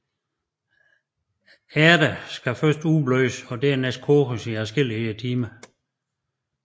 Ærterne skulle først udblødes og dernæst koges i adskillige timer